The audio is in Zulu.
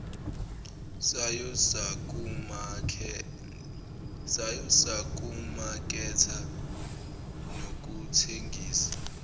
sayo sokumaketha nokuthengisa